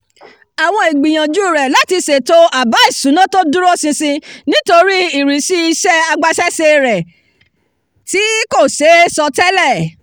àwọn ìgbìyànjú rẹ̀ láti ṣètò àbá ìṣúná tó dúró ṣinṣin nítorí ìrísí iṣẹ́ agbaṣẹ́ṣe rẹ̀ tí kò ṣe é sọtẹ́lẹ̀